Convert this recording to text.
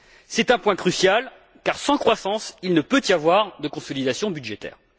C'est un point crucial, car, sans croissance, il ne peut y avoir de consolidation budgétaire.